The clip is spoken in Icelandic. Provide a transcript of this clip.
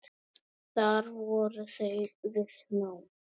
Þar voru þau við nám.